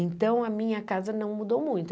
Então, a minha casa não mudou muito.